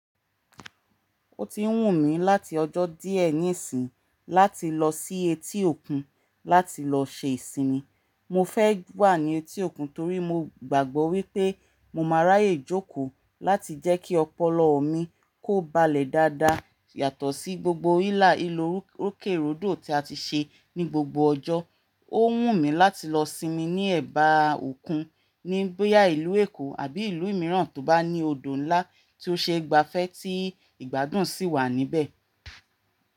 Ó ti wù mí láti ọjọ́ díẹ̀ níìsín láti lọ sí etí òkun láti lọ ṣe ìsinmi. Mo fẹ́ wà ní etí òkun torí mo gbàgbọ́ wípé mo máa ráyè jókòó láti jẹ́ kí ọpọlọ mi kó balẹ̀ dáadáa yàtọ̀ sí gbogbo hílàhílá rukerudo tí a ti ṣe ní gbogbo ọjọ́. Ó wù mí láti lọ sinmi ní ẹ̀bá òkun ní bo ya ìlú Èkó àbí ìlú mìíràn tó bá ní odò ńlá tí ó ṣeé gbafẹ́ tí ìgbádùn sì wà níbẹ̀.